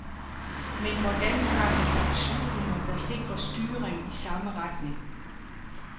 Men hvordan træffes der beslutninger, der sikrer styring i samme retning?